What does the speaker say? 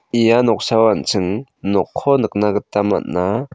ia noksao an·ching nokko nikna gita man·a.